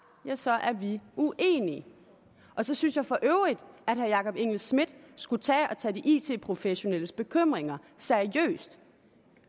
så er vi uenige så synes jeg for øvrigt at herre jakob engel schmidt skulle tage og tage de it professionelles bekymringer seriøst